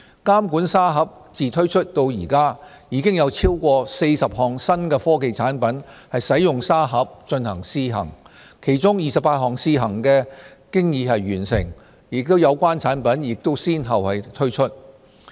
監管沙盒自推出至今，已有超過40項新科技產品使用沙盒進行試行，其中28項試行經已完成，有關產品亦已先後推出。